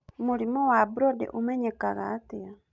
Mũrimũ wa Brody ũmenyekaga atĩa?